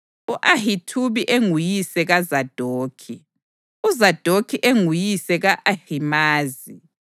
u-Ahithubi enguyise kaZadokhi, uZadokhi enguyise ka-Ahimazi,